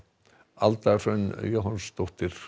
Alda Hrönn Jóhannsdóttir